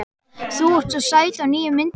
Þú ert svo sæt á nýju myndinni.